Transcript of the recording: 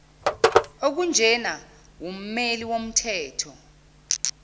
okunjena wummeli womthetho